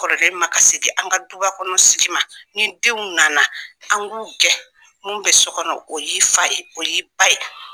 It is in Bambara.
Kɔrɔ kɛ in ma kasi kɛ an ka dubakɔnɔn sigi ma, ni denw nana an k'u gɛn mun bɛ so kɔnɔn o y'i fa ye, o y'i ba ye.